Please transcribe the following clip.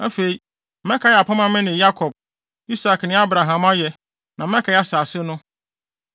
Afei, mɛkae apam a mene Yakob, Isak ne Abraham ayɛ, na mɛkae asase no.